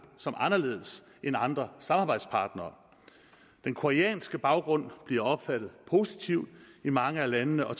som anderledes end andre samarbejdspartnere den koreanske baggrund bliver opfattet positivt i mange af landene og